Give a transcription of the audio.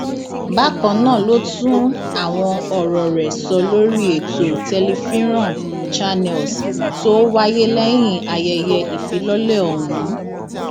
bákan náà ló tún àwọn ọrọ rẹ sọ lórí ètò tẹlifiran channels tó wáyé lẹyìn ayẹyẹ ìfilọlẹ ọhún